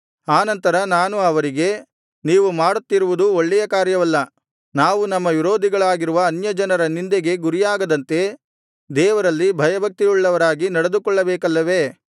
ಆನಂತರ ನಾನು ಅವರಿಗೆ ನೀವು ಮಾಡುತ್ತಿರುವುದು ಒಳ್ಳೆಯ ಕಾರ್ಯವಲ್ಲ ನಾವು ನಮ್ಮ ವಿರೋಧಿಗಳಾಗಿರುವ ಅನ್ಯಜನರ ನಿಂದೆಗೆ ಗುರಿಯಾಗದಂತೆ ದೇವರಲ್ಲಿ ಭಯಭಕ್ತಿಯುಳ್ಳವರಾಗಿ ನಡೆದುಕೊಳ್ಳಬೇಕಲ್ಲವೇ